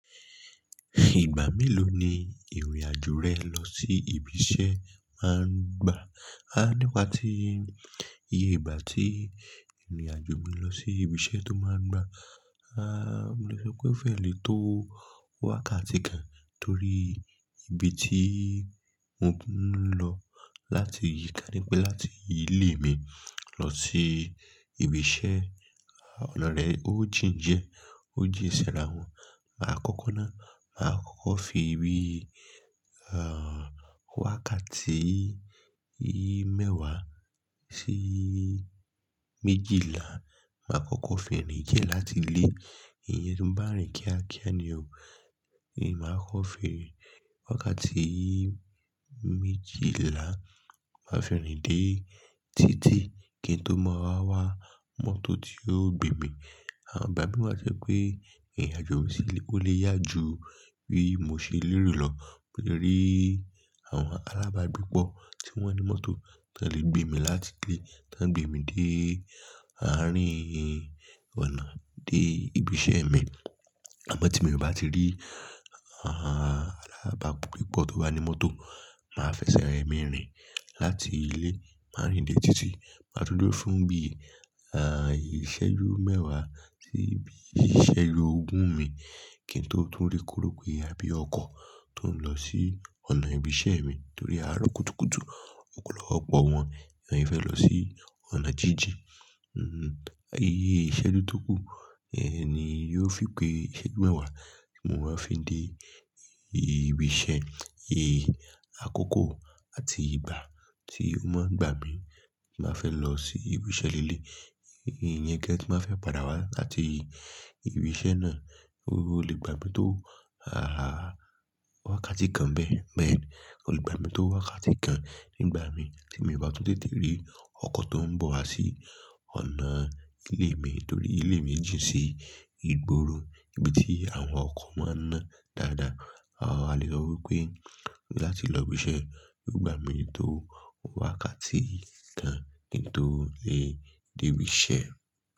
Ìgbà mélòó ni ìrìn-àjò rẹ lọ sí ibi iṣẹ́ máa ń gbà? Ah, nípa ti ìgbà tí ìrìn-àjò mi lọ sí ibi iṣẹ́ tó máa ń gbà, ah, mo lè sọ pé ó fẹ́rẹ̀ lé tó wákàtí kan torí ibi tí mo ń lọ láti yìí ka ní pé láti ilé mi lọ sí ibi iṣẹ́, ah, ọ̀nà rẹ̀ ó jìn diẹ, ó jìn sẹ́ra wọn. Aá kọ́kọ́ ná, màá kọ́kọ́ fi ibi, ah, wákàtí yí mẹ́wàá sí méjìlá. Màá kọ́kọ́ fẹ̀yìntì jẹ́ láti ilé. Ìyẹn tó ń bá rìn kíákíá ni o. Ìyẹn màá kọ́ fi wákàtí méjìlá. Màá fi rin dé títí kí n tó mọ wá wá mọ́tò tí yóò gbé mi. Àn bá mí to je pé ìrìn-àjò mi sílé kó lè yá ju bí mo ṣe lérò lọ. Mo lè rí àwọn alábàágbépọ̀ tí wọ́n ní mọ́tò tó lè gbé mi láti ilé, tó lè gbé mi dé àárín ọ̀nà dé ibi iṣẹ́ mi. Àmọ́ tí mo bá ti rí, ah, alábàágbépọ̀ tó bá ní mọ́tò, màá fẹsẹ̀ rẹ́ mi rìn láti ilé, máa rìn dé títí. Màá dúró fún bí, ah, ìṣẹ́jú mẹ́wàá sí ibi ìṣẹ́jú ogún mi kí n tó tún rí koropé a bí ọkọ̀ tó ń lọ sí ọ̀nà ibi iṣẹ́ mi torí a rọ́ kùtùkùtù. Òpolọ̀pọ̀ wọn ni wọ́n fẹ́ lọ sí ọ̀nà jíjìn. Hmm-mm. Ayé ìṣẹ́jú tó kù, ẹni yóò fi pé ìṣẹ́jú mẹ́wàá ti mo máa fi dé ibi iṣẹ́. Eh, àkókò àti ìgbà tí ó máa ń gbà mi tí màá fẹ́ lọ sí ibi iṣẹ́ lélẹ̀i. Ìyẹn kí ẹ ti máa fẹ́ padà wá láti ibi iṣẹ́ náà. Ó lè gbà mí tó, ah, wákàtí kan bẹ́ẹ̀ bẹ́ẹ̀ ni. Ó lè gbà mí tó wákàtí kan nígbà mí tí mo bá tún tètè rí ọkọ̀ tó ń bọ̀ wá sí ọ̀nà ilé mi torí ilé mi jìn sí ìgboro ibi tí àwọn ọkọ̀ máa ń ná dáadáa. A lè rọ̀ wípé láti lọ ibi iṣẹ́ yóò gbà mí tó wákàtí kan kí n tó lè dé ibi iṣẹ́.